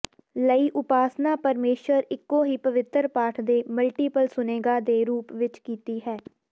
ਲਈ ਉਪਾਸਨਾ ਪਰਮੇਸ਼ੁਰ ਇੱਕੋ ਹੀ ਪਵਿੱਤਰ ਪਾਠ ਦੇ ਮਲਟੀਪਲ ਸੁਣੇਗਾ ਦੇ ਰੂਪ ਵਿਚ ਕੀਤੀ ਹੈ